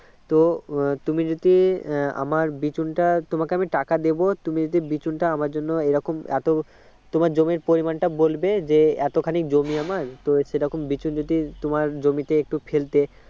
তো তুমি যদি আমার বিচুনটা তোমাকে আমি টাকা দেবো তুমি যদি বিচুনটা আমার জন্য এরকম এতো তোমার জমির পরিমানটা বলবে যে এতখানি জমি আমার তো সে রকম বিচুন যদি তোমার জমিতে একটু ফেলতে